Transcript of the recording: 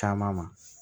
Caman ma